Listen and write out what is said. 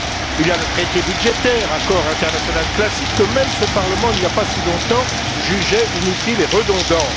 Il y a le traité budgétaire, accord international classique que même ce Parlement, il n'y a pas si longtemps, jugeait inutile et redondant.